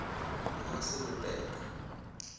na se le pe ka